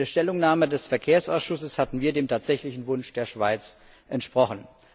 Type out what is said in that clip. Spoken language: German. In der Stellungnahme des Verkehrsausschusses hatten wir dem tatsächlichen Wunsch der Schweiz entsprochen.